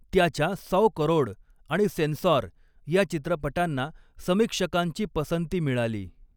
त्याच्या 'सौ करोड' आणि 'सेन्सॉर' या चित्रपटांना समीक्षकांची पसंती मिळाली.